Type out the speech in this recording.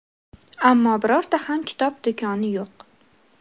Ammo birorta ham kitob do‘koni yo‘q.